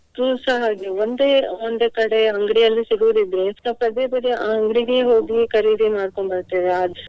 ಅದೂಸ ಹಾಗೆ ಒಂದೇ ಒಂದೇ ಕಡೆ ಅಂಗಡಿಯಲ್ಲಿ ಸಿಗುವುದಿದ್ರೆ next ಪದೇ ಪದೇ ಅಹ್ ಅಂಗಡಿಗೇ ಹೋಗಿ ಖರೀದಿ ಮಾಡ್ಕೊಂಡು ಬರ್ತೇವೆ ಅಹ್.